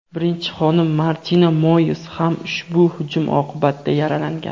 birinchi xonim Martina Moiz ham ushbu hujum oqibatida yaralangan.